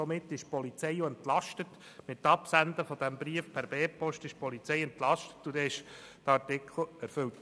Sobald der Brief per B-Post abgesendet ist, ist die Polizei entlastet und der Artikel erfüllt.